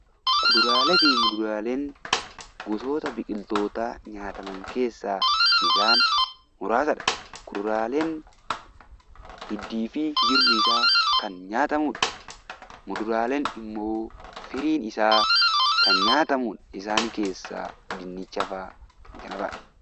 Kuduraalee fi muduraaleen gosoota biqiltootaa nyaataman keessaa isaan muraasadha. Kuduraaleen hiddii fi jirmisaa kan nyaatamudha. Muduraaleen immoo firiin isaa kan nyaatamudha. Isaan keessaa dinnicha fa'aa.